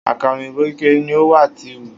Akara oyinbo kekere ni o wa ti nhu